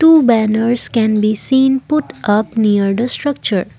Two banners can be seen put up near the structure.